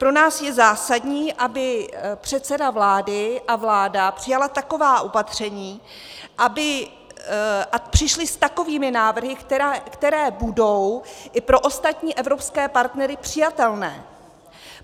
Pro nás je zásadní, aby předseda vlády a vláda přijali taková opatření a přišli s takovými návrhy, které budou i pro ostatní evropské partnery přijatelné.